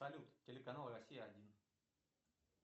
салют телеканал россия один